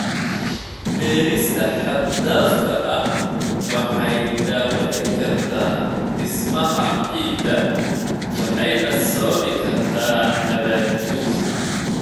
Beerista xad-dhaafka ah waxay dhaawici kartaa dhismaha ciidda waxayna sababi kartaa nabaad guur.